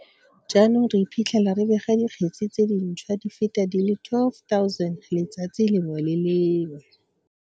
Jaanong re iphitlhela re bega dikgetse tse dintšhwa di feta di le 12 000 letsatsi le lengwe le le lengwe.